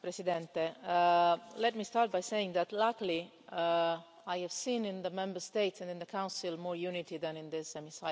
Mr President, let me start by saying that, luckily, I have seen in the Member States and in the Council more unity than in this Chamber.